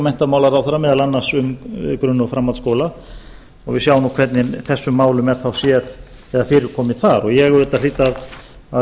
menntamálaráðherra meðal annars um grunn og framhaldsskóla og við sjáum nú hvernig þessum málum er þá séð eða fyrirkomið þar en ég auðvitað hlýt að